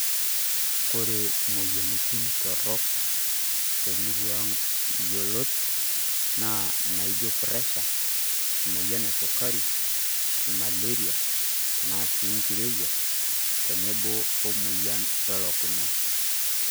Kore imoyianitin torrok temurua ang' yiolot naa naijo pressure, emoyian esukari, maleria tena sii nkirowuaj tenebo omoyian elukunya.